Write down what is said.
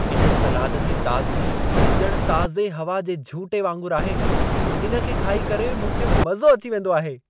इन सलाद जी ताज़गी ॼण ताज़े हवा जे झूटे वांगुरु आहे। हिन खे खाई करे मूंखे मज़ो अची वेंदो आहे।